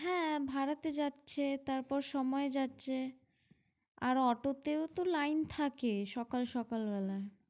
হ্যাঁ ভাড়াতে যাচ্ছে তারপর সময় যাচ্ছে আর অটো তেও তো line থাকে সকাল সকাল বেলা।